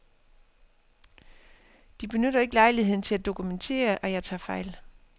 De benytter ikke lejligheden til at dokumentere, at jeg tager fejl.